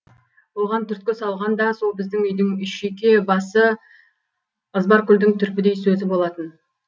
оған түрткі салған да сол біздің үйдің шүйке басы ызбаркүлдің түрпідей сөзі болатын